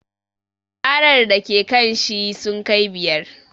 Ƙarar da ke kanshi sun kai biyar